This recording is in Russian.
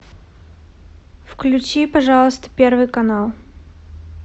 включи пожалуйста первый канал